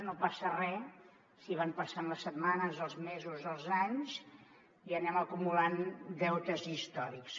no passa re si van passant les setmanes els mesos els anys i anem acumulant deutes històrics